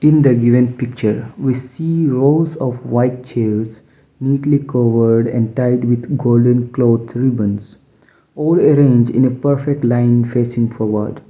in the given picture we see rows of white chairs neatly covered and tied with golden cloth ribbons all arranged in a perfect line facing forward.